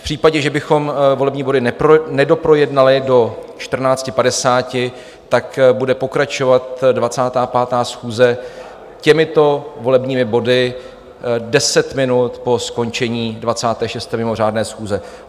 V případě, že bychom volební body nedoprojednali do 14.50, tak bude pokračovat 25. schůze těmito volebními body deset minut po skončení 26. mimořádné schůze.